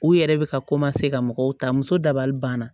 U yɛrɛ bɛ ka ka mɔgɔw ta muso dabali banna